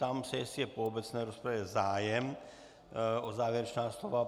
Ptám se, jestli je po obecné rozpravě zájem o závěrečná slova.